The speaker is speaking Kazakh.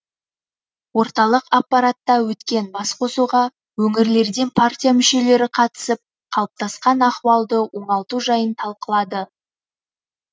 орталық аппаратта өткен басқосуға өңірлерден партия мүшелері қатысып қалыптасқан ахуалды оңалту жайын талқылады